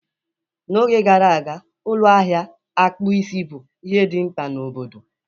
N'oge gara aga, ụlọ ahịa akpụ isi bụ ihe dị mkpa na obodo.